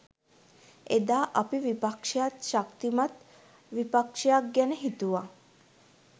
එදා අපි විපක්ෂයත් ශක්තිමත් විපක්ෂයක් ගැන හිතුවා